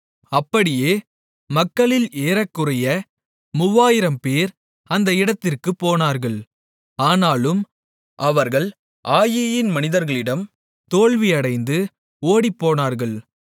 அப்படியே மக்களில் ஏறக்குறைய 3000 பேர் அந்த இடத்திற்குப் போனார்கள் ஆனாலும் அவர்கள் ஆயீயின் மனிதர்களிடம் தோல்வியடைந்து ஓடிப்போனார்கள்